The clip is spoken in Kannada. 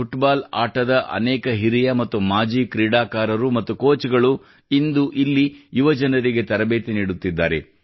ಫುಟ್ಬಾಲ್ ಆಟದ ಅನೇಕ ಹಿರಿಯ ಮತ್ತು ಮಾಜಿ ಕ್ರೀಡಾಕಾರರು ಮತ್ತು ಕೋಚ್ ಗಳು ಇಂದು ಇಲ್ಲಿ ಯುವಜನರಿಗೆ ತರಬೇತಿ ನೀಡುತ್ತಿದ್ದಾರೆ